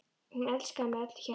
Hún elskaði mig af öllu hjarta.